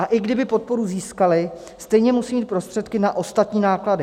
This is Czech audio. A i kdyby podporu získaly, stejně musí mít prostředky na ostatní náklady.